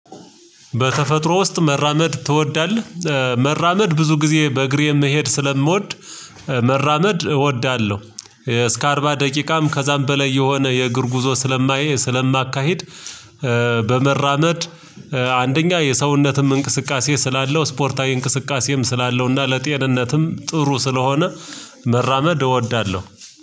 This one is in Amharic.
በተፈጥሮ ውስጥ መራመድ ትወዳለህ? መራመድ ብዙ ጊዜ በእግሬ የምሄድ ስለምወድ መራመድ እወዳለሁ። እስከ አርባ ደቂቃም ከዛም በላይ የሆነ የእግር ጉዞ ስለማየ ስለማካሂድ። በመራመድ አንደኛ የሰውነትም እንቅስቃሴ ስላለው ስፖርታዊ እንቅስቃሴም ስላለውና ለጤንነትም ጥሩ ስለሆነ መራመድ እወዳለሁ።